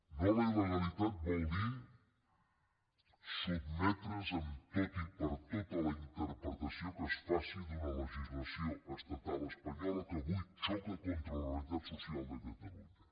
no a la il·legalitat vol dir sotmetre’s en tot i per tot a la interpretació que es faci d’una legislació estatal espanyola que avui xoca contra la realitat social de catalunya